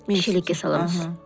шелекке саламыз